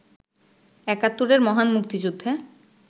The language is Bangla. একাত্তরের মহান মুক্তিযুদ্ধে